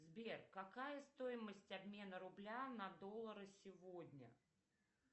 сбер какая стоимость обмена рубля на доллары сегодня